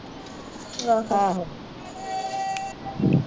ਬੱਸ ਆਹੋ